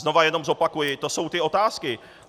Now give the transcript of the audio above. Znovu jenom zopakuji, to jsou ty otázky.